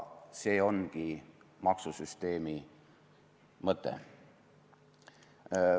See ongi maksusüsteemi mõte.